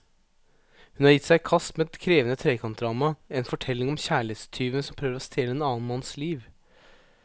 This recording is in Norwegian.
Hun har gitt seg i kast med et krevende trekantdrama, en fortelling om kjærlighetstyven som prøver å stjele en annen manns liv.